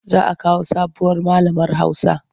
Za a kawo sabuwar malamar Hausa.